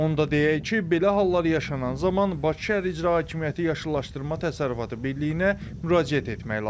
Onda deyək ki, belə hallar yaşanan zaman Bakı Şəhər İcra Hakimiyyəti Yaşıllaşdırma Təsərrüfatı Birliyinə müraciət etmək lazımdır.